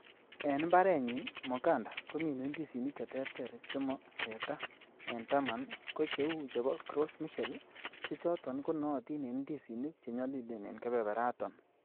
En imbarenyin, Moganda komine ndisinik cheterter chemo teta, en taman ko cheu chebo Gros Michel, che choton konootin en ndisinik che nyolilen en kebeberaton.